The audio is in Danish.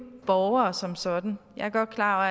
borgere som sådan jeg er godt klar